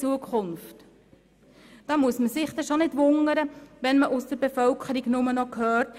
Da muss man sich nicht wundern, wenn man aus der Bevölkerung nur noch hört: